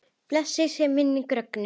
Blessuð sé minning Rögnu.